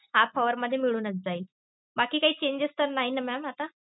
half hour मध्ये मिळूनच जाईल. बाकी काही changes तर नाय ना mam आत्ता?